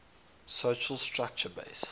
social structure based